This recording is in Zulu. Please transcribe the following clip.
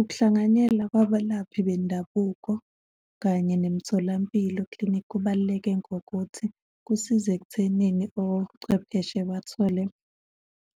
Ukuhlanganyela kwabalaphi bendabuko kanye nemitholampilo, clinic, kubaluleke ngokuthi kusiza ekuthenini ochwepheshe bathole